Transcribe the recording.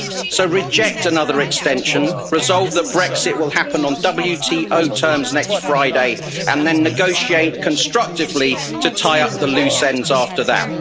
So, reject another extension, resolve that Brexit will happen on WTO terms next Friday, and then negotiate constructively to tie up the loose ends after that.